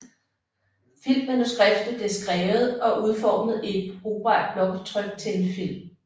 Filmmanuskriptet bliver skrevet og udformet i et brugbart blåtryk til en film